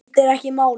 Skiptir ekki máli!